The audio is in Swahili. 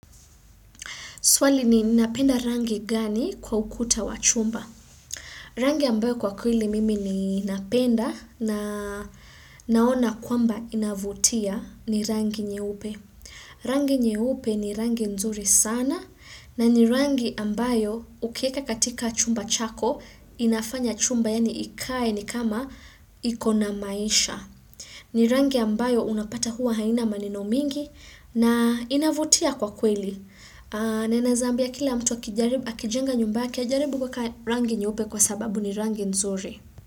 Swali ni napenda rangi gani kwa ukuta wa chumba. Rangi ambayo kwa kweli mimi ni napenda na naona kwamba inavutia ni rangi nyeupe. Rangi nyeupe ni rangi nzuri sana na ni rangi ambayo ukieka katika chumba chako inafanya chumba yani ikae ni kama ikona maisha. Ni rangi ambayo unapata huwa haina maneno mingi na inavutia kwa kweli. Ninaeza ambia kila mtu wakijenga nyumba yake ajaribu kwa rangi nyeupe kwa sababu ni rangi nzuri.